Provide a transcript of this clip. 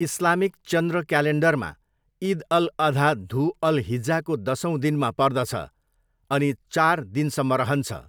Islamic चन्द्र क्यालेन्डरमा, इद अल अधा धु अल हिज्जाको दसौँ दिनमा पर्दछ अनि चार दिनसम्म रहन्छ।